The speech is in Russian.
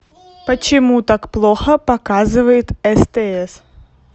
почему так плохо показывает стс